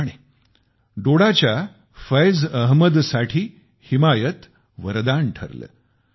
त्याचप्रमाणे डोडाच्या फियाज अहमदसाठी हिमायत वरदान ठरले